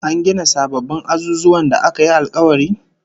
An gina sababbin azuzuwan da aka yi alkawari?